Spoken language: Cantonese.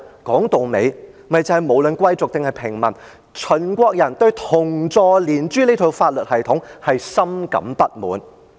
說到底，便是無論貴族或平民，秦國人對連坐、株連這套法律系統是深感不滿的。